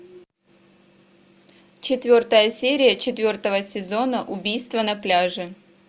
четвертая серия четвертого сезона убийство на пляже